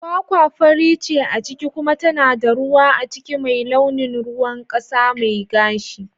Kwakwa fari ce a ciki kuma tana da ruwa a ciki mai launin ruwan kasa mai gashi.